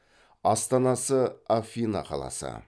астанасы афина қаласы